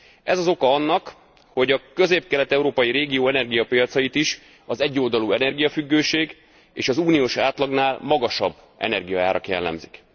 Ez az oka annak, hogy a közép kelet európai régió energiapiacait is az egyoldalú energiafüggőség és az uniós átlagnál magasabb energiaárak jellemzik.